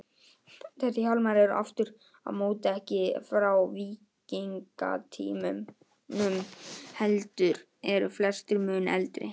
Þessir hjálmar eru aftur á móti ekki frá víkingatímanum, heldur eru flestir mun eldri.